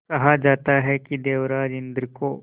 कहा जाता है कि देवराज इंद्र को